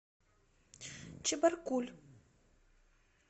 чебаркуль